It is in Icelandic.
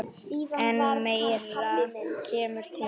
En meira kemur til.